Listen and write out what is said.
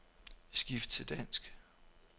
Skift til dansk.